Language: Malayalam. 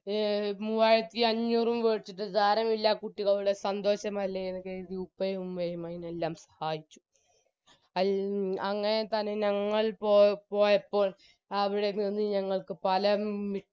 എ മൂവായിരത്തിഅഞ്ഞൂറും കൊടുത്തിട്ട് സാരമില്ല കുട്ടികളുടെ സന്തോഷമല്ലേ എന്ന് കരുതി ഉപ്പയും ഉമ്മയും അതിനെല്ലാം സായിച്ചു അങ്ങനെ തന്നെ ഞങ്ങൾ പോയ പോയപ്പോൾ അവിടെ നിന്നും ഞങ്ങൾക്ക് സ്ഥലം